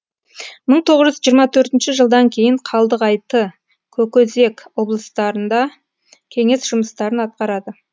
мың тоғыз жүз жиырма төртінші жылдан кейін қалдығайты көкөзек облыстарында кеңес жұмыстарын атқарады